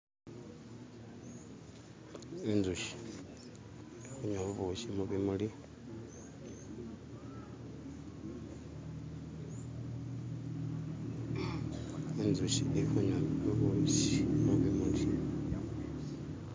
inzushi inywa bubushi mubimuli, inzushi ili kunywa bubushi mubimuli.